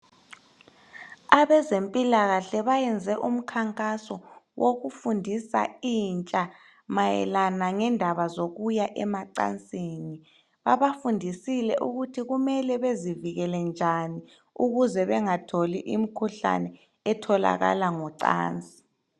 Abezempilakahle bayenze umkhankaso wokufundisa intsha mayelana lendaba zokuya emacansini. Babafundisile ukuthi kumele bezivikele njani ukuz bengatholi imikhuhlane etholakala ngocansi.